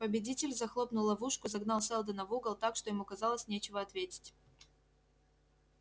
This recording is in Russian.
победитель захлопнул ловушку загнал сэлдона в угол так что ему казалось нечего ответить